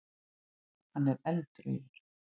Hann er eldrauður.